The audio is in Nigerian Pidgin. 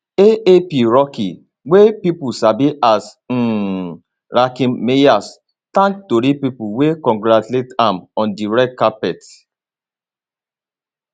aap rocky wey pipo sabi as um rakim mayers thank tori pipo wey congratulates am on di red carpet